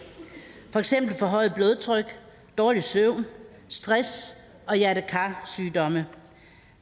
for eksempel forhøjet blodtryk dårlig søvn stress og hjerte kar sygdomme